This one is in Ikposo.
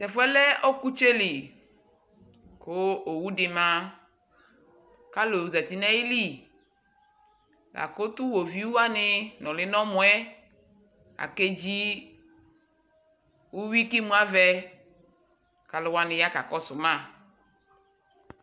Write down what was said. Tʋ ɛfʋ yɛ lɛ ɔkʋtsɛ li kʋ owu dɩ ma kʋ alʋ zati nʋ ayili la kʋ tʋ iɣoviu wanɩ nʋlɩ nʋ ɛmɔ yɛ akedzi uyui kʋ imuavɛ kʋ alʋ wanɩ ya kakɔsʋ ma